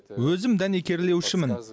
өзім дәнекерлеушімін